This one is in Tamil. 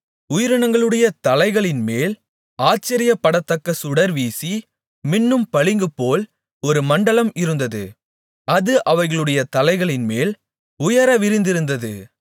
உயிரினங்களுடைய தலைகளின்மேல் ஆச்சரியப்படத்தக்க சுடர் வீசி மின்னும் பளிங்குபோல் ஒரு மண்டலம் இருந்தது அது அவைகளுடைய தலைகளின்மேல் உயர விரிந்திருந்தது